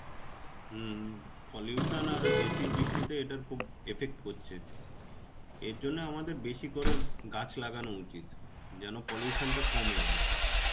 হম pollution আর acid বৃষ্টিতে এটার খুব effect পড়ছে. এরজন্যে আমাদের বেশী করে গাছ লাগানো উচিত. যে নো pollution টা করে আর কি.